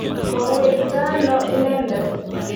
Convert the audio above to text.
Ko wetito ano inendet?